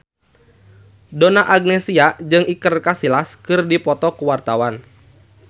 Donna Agnesia jeung Iker Casillas keur dipoto ku wartawan